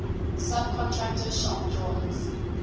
subcontractor shop drawings